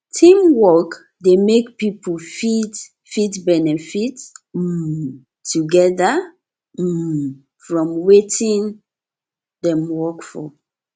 teamwork de make pipo fit fit benefit um together um from wetin dem work for